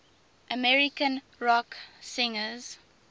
american rock singers